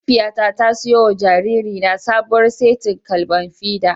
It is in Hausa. Mahaifiyata ta siyo wa jaririna sabuwar setin kwalban fida.